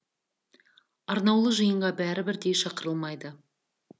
арнаулы жиынға бәрі бірдей шақырылмайды